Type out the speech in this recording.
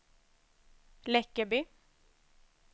Läckeby